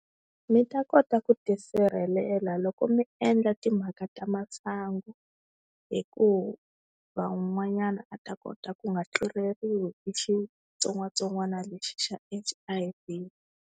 Mi ta kota ku tisirhelela loko mi endla timhaka ta masangu, hi ku van'wanyana a ta kota ku nga tluleriwi hi xitsongwatsongwana lexi xa H_I_V.